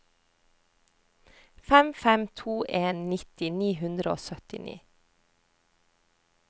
fem fem to en nitti ni hundre og syttini